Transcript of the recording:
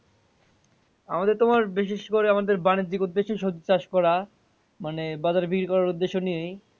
আমাদের তোমার বিশেষ করে আমাদের বাণিজ্যিক উদ্দেশ্যে সবজি চাষ করা মানে বাজারে বিক্রি করার উদ্দেশ্য নিয়ে।